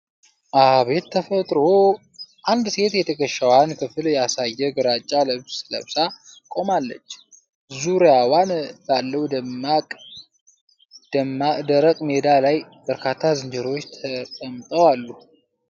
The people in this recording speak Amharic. አቤት ተፈጥሮ ! አንድ ሴት የትከሻዋን ክፍል ያሳየ ግራጫ ልብስ ለብሳ፣ ቆማለች። ዙሪያዋን ባለው ደረቅ ሜዳ ላይ በርካታ ዝንጀሮዎች ተቀምጠው አሉ።